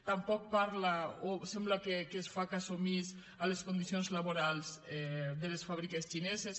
tampoc parla o sembla que es fa cas omís de les condicions laborals de les fàbriques xineses